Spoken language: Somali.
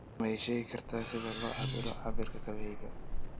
ma ii sheegi kartaa sida loo cabbiro cabbirka kabahayga